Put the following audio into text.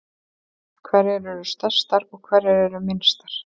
Hverjar eru stærstar og hverjar eru minnstar?